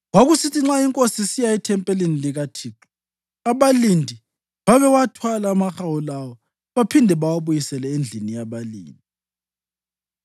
Kwakusithi nxa inkosi isiya ethempelini likaThixo, abalindi babewathwala amahawu lawo, baphinde bawabuyisele endlini yabalindi.